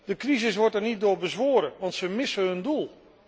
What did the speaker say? De crisis wordt er niet door bezworen, want ze missen hun doel.